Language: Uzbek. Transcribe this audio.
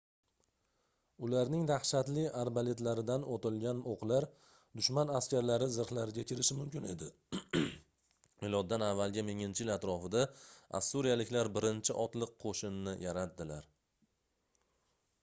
ularning dahshatli arbaletlaridan otilgan oʻqlar dushman askarlari zirhlariga kirishi mumkin edi miloddan avvalgi 1000-yil atrofida ossuriyaliklar birinchi otliq qoʻshinni yaratdilar